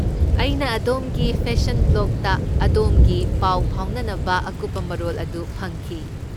ꯑꯩꯅ ꯑꯗꯣꯝꯒꯤ ꯐꯦꯁꯟ ꯕ꯭ꯂꯣꯒꯇ ꯑꯗꯣꯝꯒꯤ ꯄꯥꯎ ꯐꯥꯎꯅꯅꯕ ꯑꯀꯨꯞꯄ ꯃꯔꯣꯜ ꯑꯗꯨ ꯐꯪꯈꯤ꯫